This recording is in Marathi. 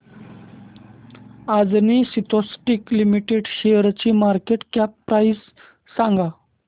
अंजनी सिन्थेटिक्स लिमिटेड शेअरची मार्केट कॅप प्राइस सांगा